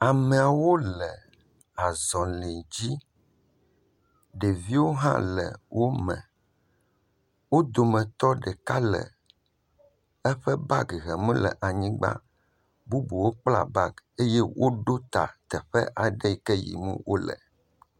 Amewo le azɔli dzi. Ɖeviwo hã le wome. Wo dometɔ ɖeka le eƒe gabi hem le anyigba. Bubuwo kplaa bagi eye woɖo ta teƒe aɖe yi ke yim wole.